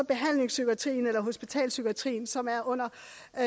behandlingspsykiatrien eller hospitalspsykiatrien som er under